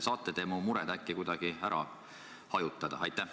Kas te saate mu mure äkki kuidagi hajutada?